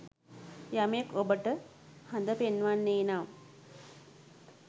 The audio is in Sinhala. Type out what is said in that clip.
යමෙක් ඔබට හඳ පෙන්වන්නේ නම්